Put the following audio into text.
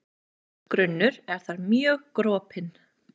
Berggrunnur er þar mjög gropinn.